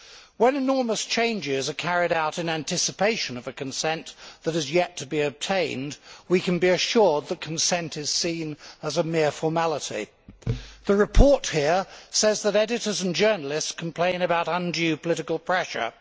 When enormous changes are carried out in anticipation of a consent that is yet to be obtained, we can be assured that consent is seen as a mere formality. The report here says that editors and journalists complain about undue political pressure.